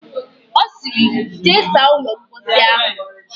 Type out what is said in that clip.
Ọ sịrị, jee saa ụlọ mposi ahụ!